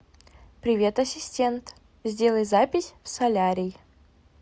привет ассистент сделай запись в солярий